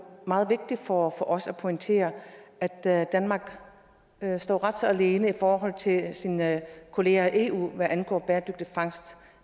meget vigtigt for os at pointere at at danmark står ret så alene i forhold til sine kollegaer i eu hvad angår bæredygtig fangst